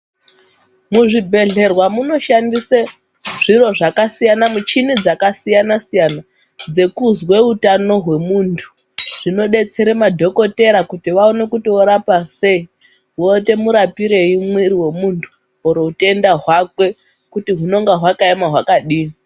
Muzvibhedhlerwa moshandise zviro zvakasiyana muchini dzakasiyana _siyana dzekuzwa utano hwemuntu zvinodetsera madhokotera kuti vaone kuti vorapa sei voita murapirei mwiri hwemuntu uye utenda hwakwe kuti hunenge hwakaema hwakadini .